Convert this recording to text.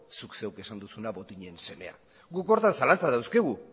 zuk zeuk esan duzun bezala botinen semea guk horretan